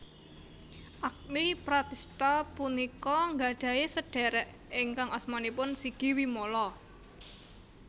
Agni Pratistha punika nggadhahi sedhérék ingkang asmanipun Sigi Wimala